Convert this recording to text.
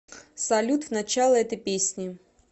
салют в начало этой песни